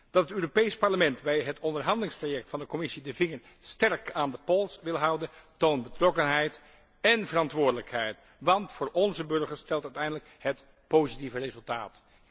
Dat het Europees Parlement bij het onderhandelingstraject van de Commissie de vinger sterk aan de pols wil houden toont betrokkenheid en verantwoordelijkheid, want voor onze burgers telt uiteindelijk het positieve resultaat.